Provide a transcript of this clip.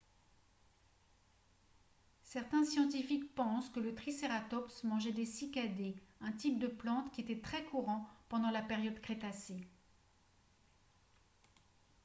certains scientifiques pensent que le tricératops mangeait des cycadées un type de plante qui était très courant pendant la période crétacée